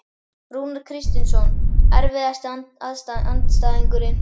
Rúnar Kristinsson Erfiðasti andstæðingur?